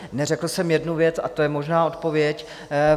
Neřekl jsem jednu věc, a to je možná odpověď.